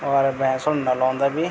और भेन्सून नलौन्दा भी --